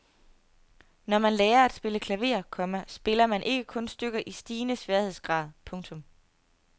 Når man lærer at spille klaver, komma spiller man ikke kun stykker i stigende sværhedsgrad. punktum